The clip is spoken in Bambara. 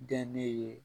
Dɛ ne ye